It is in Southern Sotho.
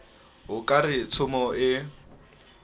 o ka re tshomo ee